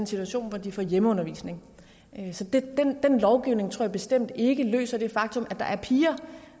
situation vil få hjemmeundervisning så den lovgivning tror jeg bestemt ikke løser det faktum at der er piger